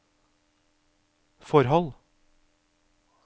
forhold